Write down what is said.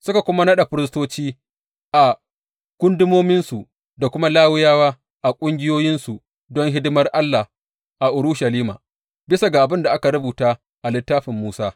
Suka kuma naɗa firistoci a gundumominsu da kuma Lawiyawa a ƙungiyoyinsu don hidimar Allah a Urushalima, bisa ga abin da aka rubuta a Littafin Musa.